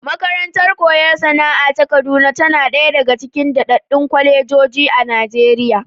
Makarantar koyon sana'a ta Kaduna tana ɗaya aga cikin daɗaɗɗun kwalejoji a Najeriya.